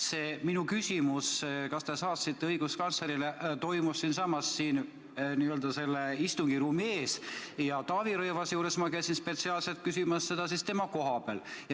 See minu küsimus, kas te saatsite õiguskantslerile, oli siinsamas, n-ö selle istungiruumi ees, ja Taavi Rõivase juures käisin ma spetsiaalselt küsimas seda tema koha peal.